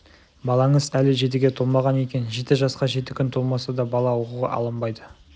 балаңыз әлі жетіге толмаған екен жеті жасқа жеті күн толмаса да бала оқуға алынбайды